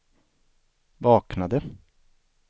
vaknade